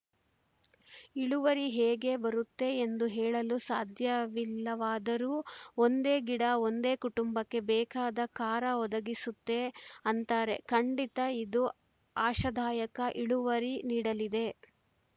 ಇಳುವರಿ ಹೇಗೆ ಬರುತ್ತೆ ಎಂದು ಹೇಳಲು ಸಾಧ್ಯವಿಲ್ಲವಾದರೂ ಒಂದೇ ಗಿಡ ಒಂದು ಕುಟುಂಬಕ್ಕೆ ಬೇಕಾದ ಖಾರ ಒದಗಿಸುತ್ತೆ ಅಂತಾರೆ ಖಂಡಿತ ಇದು ಆಶಾದಾಯಕ ಇಳುವರಿ ನೀಡಲಿದೆ